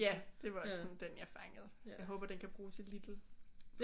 Ja det var også sådan den jeg fangede jeg håber den kan bruges i Lidl